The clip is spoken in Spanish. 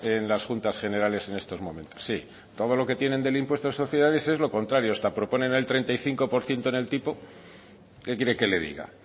en las juntas generales en estos momentos sí todo lo que tienen del impuesto de sociedades es lo contrario hasta proponen el treinta y cinco por ciento en el tipo qué quiere que le diga